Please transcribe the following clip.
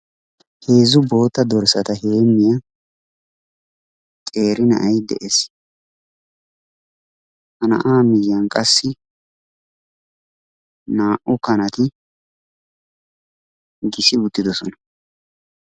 Heezzu bootta dorssata heemmiya qeeri na'ay de'ees. Ha na'aa miyiyan qassi naa'u kanatti gissi uttidosona.